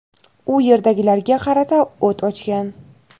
u yerdagilarga qarata o‘t ochgan.